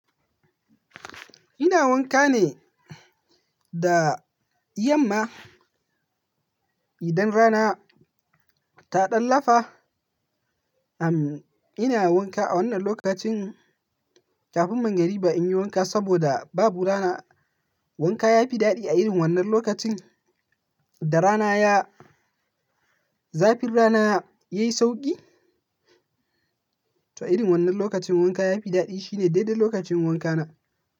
Ina wanka ne da yamma, idan rana ta ɗan lafa. Am ina wanka a wannan lokacin, kafin mangriba in yi wanka saboda babu rana. Wanka ya fi daɗi a irin wannan lokacin da rana ya, zafin rana ya yi sauƙi. To a irin wannan lokacin wanka ya fi daɗi. Shi ne daidai lokacin wankana.